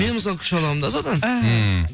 мен мысалы күш аламын да содан ммм